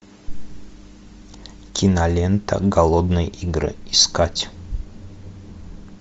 кинолента голодные игры искать